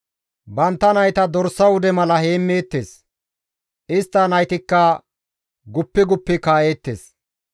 Bantta nayta dorsa wude mala heemmeettes; istta naytikka guppi guppi kaa7eettes.